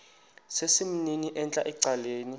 sesimnini entla ecaleni